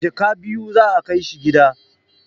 A jaka biyu za a kai shi gida